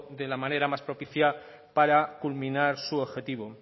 de la manera más propicia para culminar su objetivo